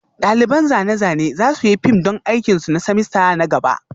Ɗaliban zane-zane za su yi fim don aikin su na semester na gaba